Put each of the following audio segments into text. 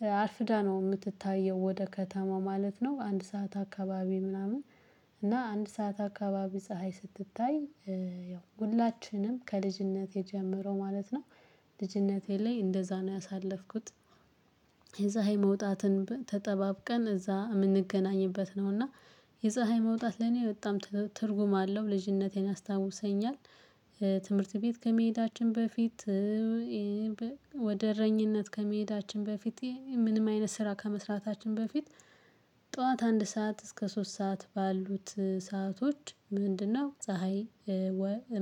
እና አርፍዳ ነው የምትታየው ወደ ከተማው ማለት ነው። አንድ ሰዓት አካባቢ ምናምን እና አንድ ሰዓት አካባቢ ፀሀይ ስትታይ ያው ሁላችንም ከልጅነት የጀመረው ማለት ነው። ልጅነቴ ላይ እንደዛ ነው ያሳለፍኩት። የፀሀይ መውጣትን ተጠባብቀን እዛ የምንገናኝበት ነው እና የፀሀይ መውጣት ለኔ በጣም ትርጉም አለው ልጅነቴን አስታውሰኛል። ትምህርት ቤት ከመሄዳችን በፊት። ወደ እረኝነት ከመሄዳችን በፊት ምንም አይነት ስራ ከመስራታችን በፊት ጠዋት አንድ ሰዓት እስከ ሶስት ሰዓት ባሉት ሰአቶች ምንድነው? ፀሀይ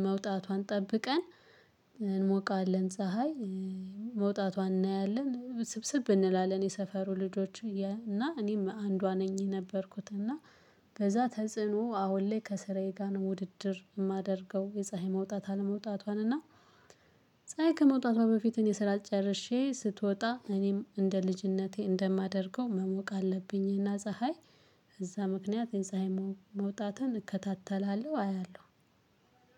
መውጣቷን ጠብቀን እንሞቃለን ፀሀይ መውጣቷን እናያለን ስብስብ እንላለን የሰፈሩ ልጆች እና እኔም አንዷ ነኝ የነበርኩት እና። ከዛ ተጽዕኖ አሁን ላይ ከስራዬ ጋር ነው ውድድር የማደርገው የፀሀይ መውጣት አለመውጣቷን እና ፀሀይ ከመውጣቷ በፊት እኔ ስራ ጨርሼ ስትወጣ እኔም እንደ ልጅነቴ እንደማደርገው መሞቅ አለብኝ። እና ፀሀይ እዛ ምክንያት የፀሀይ መውጣትን እከታተላለሁ አያለሁ።